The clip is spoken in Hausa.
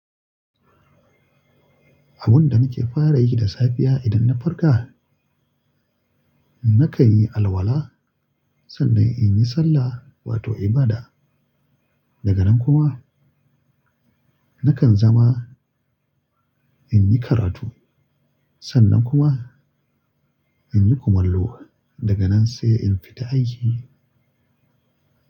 Abun da nake fara yi da safiya idan na farka, nakan yi alwala, sannan in yi sallah wato ibada. Daga nan kuma nakan zama in yi karatu, sannan kuma in yi kumallo. Daga nan sai in fita aiki.